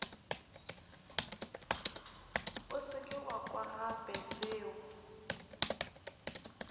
go se sengwe gape seo